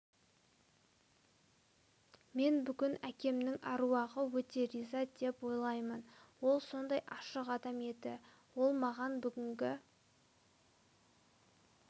мен бүгін әкемнің әруағы өте риза деп ойлаймын ол сондай ашық адам еді ол маған бүгінгі